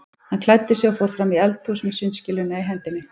Hann klæddi sig og fór fram í eldhús með sundskýluna í hendinni.